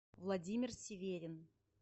владимир сиверин